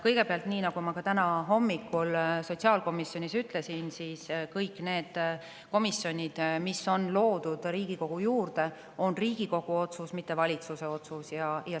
" Kõigepealt, nii nagu ma ka täna hommikul sotsiaalkomisjonis ütlesin, kõik need komisjonid, mis on loodud Riigikogu juurde, on Riigikogu otsus, mitte valitsuse otsus.